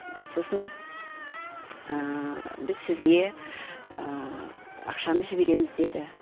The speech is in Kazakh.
сосын біз сізге ақшаны жібереміз деді